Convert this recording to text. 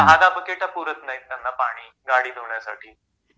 दहा दहा बकेट पुरत नाहीत त्यांना पाणी गाडी धुण्यासाठी